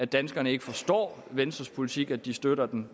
danskerne ikke forstår venstres politik at de støtter den